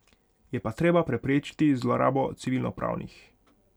Je pa treba preprečiti zlorabo civilnopravnih.